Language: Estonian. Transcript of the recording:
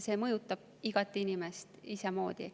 See mõjutab igat inimest isemoodi.